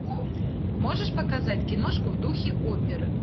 можешь показать киношку в духе оперы